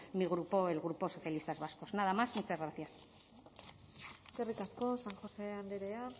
mi grupo el grupo socialistas vascos nada más y muchas gracias eskerrik asko san josé andrea